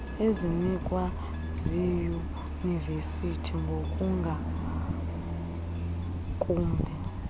ezinikwa ziiyunivesiti ngokungakumbi